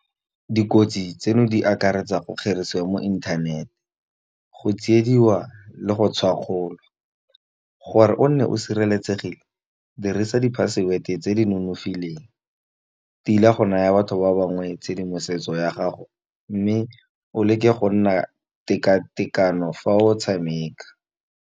Dikotsi tseno di akaretsa go kgerisiwa mo inthanete. Go tsiediwa le go tshwakgolwa gore o nne o sireletsegile. Dirisa di-password-e tse di nonofileng, tila go naya batho ba bangwe tshedimosetso ya gago, mme o leke go nna teka-tekano fa o tshameka.